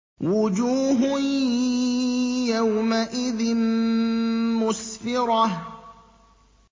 وُجُوهٌ يَوْمَئِذٍ مُّسْفِرَةٌ